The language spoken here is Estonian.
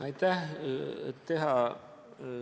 Aitäh!